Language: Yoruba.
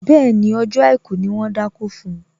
Bẹ́ẹ̀ni, ọjọ́ àìkú ni wón dákó fun